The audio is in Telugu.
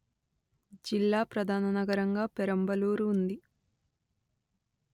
జిల్లా ప్రధాననగరంగా పెరంబలూరు ఉంది